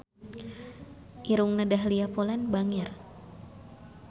Irungna Dahlia Poland bangir